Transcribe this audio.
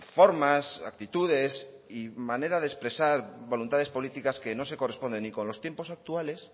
formas actitudes y manera de expresar voluntades políticas que no se corresponden ni con los tiempos actuales